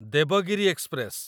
Devagiri express